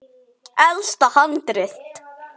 Elsta handrit